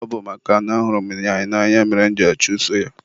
ọ bụ makana ahụrụ m ya n'anya mere mụ ji achuso ya.